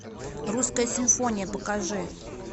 русская симфония покажи